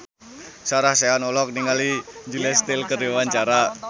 Sarah Sechan olohok ningali Julia Stiles keur diwawancara